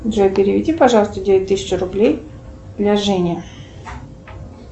джой переведи пожалуйста девять тысяч рублей для жени